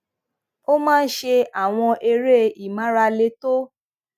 ó ó máa ń ṣe àwọn eré ìmárale tó